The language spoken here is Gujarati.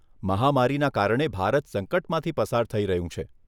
મહામારીના કારણે ભારત સંકટમાંથી પસાર થઈ રહ્યું છે.